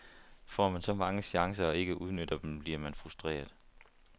Får man så mange chancer og ikke udnytter dem, bliver man frustreret.